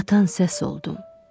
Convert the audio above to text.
Batan səs oldum.